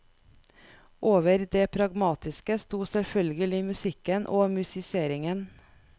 Over det pragmatiske sto selvfølgelig musikken og musiseringen.